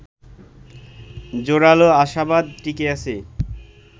জোরালো আশাবাদ টিকে আছে